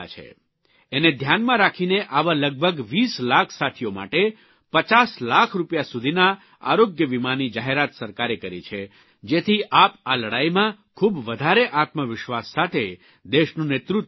એને ધ્યાનમાં રાખીને આવા લગભગ ૨૦ લાખ સાથીઓ માટે ૫૦ લાખ રૂપિયા સુધીના આરોગ્યવીમાની જાહેરાત સરકારે કરી છે જેથી આપ આ લડાઇમાં ખૂબ વધારે આત્મવિશ્વાસ સાથે દેશનું નેતૃત્વ કરી શકો